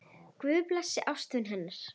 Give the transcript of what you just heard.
Guð blessi ástvini hennar.